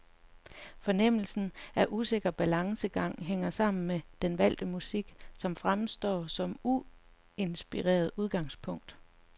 Fornemmelsen af usikker balancegang hænger sammen med den valgte musik, som fremstår som uinspirerende udgangspunkt.